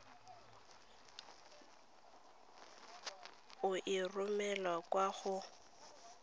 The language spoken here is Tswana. o e romele kwa go